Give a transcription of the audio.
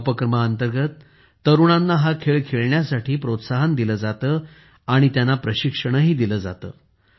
या उपक्रमांतर्गत तरुणांना हा खेळ खेळण्यासाठी प्रोत्साहन दिले जाते आणि त्यांना प्रशिक्षण दिले जाते